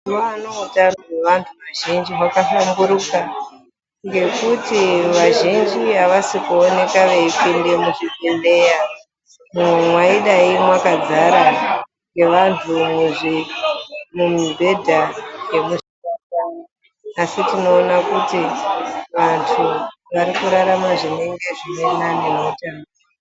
Mazuwano utano hwevantu vazhinji hwakahlamburuka ngokuti vazhinji avasi kuoneka veipinda muzvibhedhleya umwo mwaidai mwakadzara ngevantu mumibhedha yemuzvipatara asi tinoona kuti vantu vari kurarama zvinenge zviri nani nokuti...